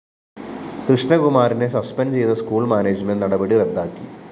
കൃഷ്ണകുമാറിനെ suspend ചെയ്ത school management നടപടി റദ്ദാക്കി